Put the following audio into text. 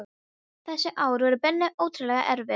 Þessi ár voru henni ótrúlega erfið.